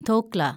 dhokla